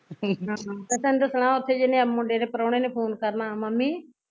ਤੈਨੂੰ ਦੱਸਣਾ ਓਥੇ ਜਿਹਨੇ ਮੁੰਡੇ ਦੇ ਪ੍ਰਾਉਣੇ ਨੇ phone ਕਰਨਾ ਮੰਮੀ